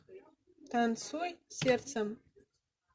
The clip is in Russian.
танцуй сердцем